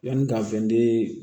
Yanni ka bɛn